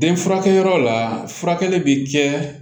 Den furakɛyɔrɔ la furakɛli bɛ kɛ